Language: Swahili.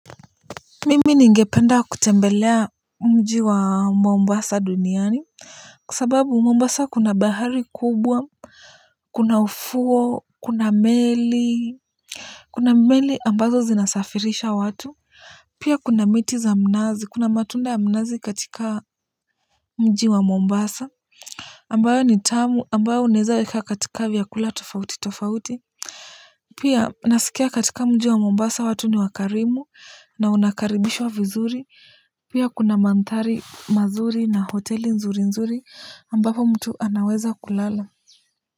Mimi ningependa kutembelea mji wa Mombasa duniani. Kwa sababu Mombasa kuna bahari kubwa, kuna ufuo, kuna meli kuna meli ambazo zinasafirisha watu, pia kuna miti za mnazi, kuna matunda ya mnazi katika mji wa Mombasa ambayo ni tamu ambayo unaezaweka katika vyakula tofauti tofauti pia nasikia katika mji wa Mombasa watu ni wakarimu na unakaribishwa vizuri pia kuna mandhari mazuri na hoteli nzuri nzuri ambapo mtu anaweza kulala.